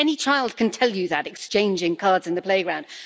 Any child can tell you that, exchanging cards in the playground.